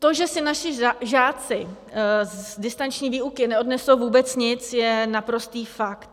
To, že si naši žáci z distanční výuky neodnesou vůbec nic, je naprostý fakt.